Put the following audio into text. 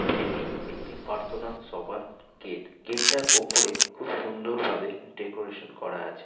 এটি একটি পার্তনা সভার গেট । গেট -টার ওপরে খুব সুন্দরভাবে ডেকোরেশন করা আছে।